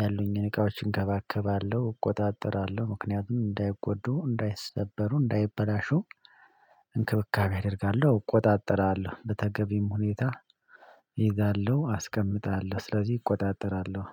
ያሉኝን እቃዎች እንከባከባለሁ እቆጣጠራለሁ ምክንያቱም እንዳይጎዱ እንዳይሰበሩ እንዳይበላሹ። እንክብካቤ አደርጋለሁ እቆጣጠራለሁ በተገቢም ሁኔታ እይዛለሁ አስቀምጣለሁ ስለዚህ እቆጣጠራለሁ